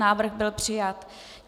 Návrh byl přijat.